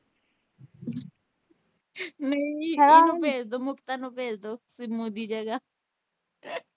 ਇਹਨੂੰ ਭੇਜ ਦੋ ਨੂੰ ਭੇਜ ਦੋ ਦੀ ਜਗ੍ਹਾ